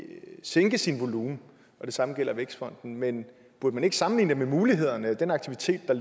sænke sin volumen og det samme gælder vækstfonden men burde man ikke sammenligne det med muligheder og den aktivitet der